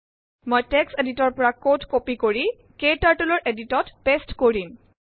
মই text editor পৰা code copy কৰি KTurtleৰ এদিটৰত পেস্ট কৰিম